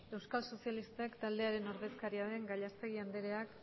euskal sozialistak taldearen ordezkaria den gallastegui andereak